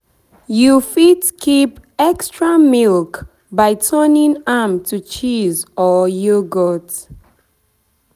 You fit keep extra milk by turning am to cheese or yoghourt